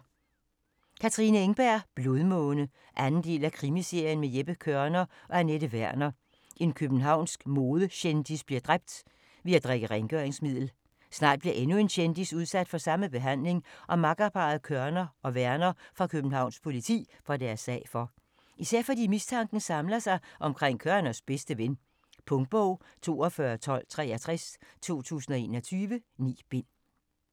Engberg, Katrine: Blodmåne 2. del af krimiserien med Jeppe Kørner og Anette Werner. En københavnsk modekendis bliver dræbt ved at drikke rengøringsmiddel. Snart bliver endnu en kendis udsat for samme behandling, og makkerparret Kørner og Werner fra Københavns Politi får deres sag for. Især fordi mistanken samler sig omkring Kørners bedste ven. Punktbog 421263 2021. 9 bind.